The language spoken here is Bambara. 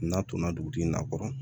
N'a donna dugutigi in na kɔrɔ